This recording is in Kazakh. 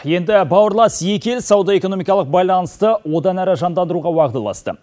енді бауырлас екі ел сауда экономикалық байланысты одан әрі жандандыруға уағдаласты